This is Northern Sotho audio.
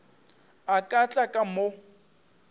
a ka tla ka mo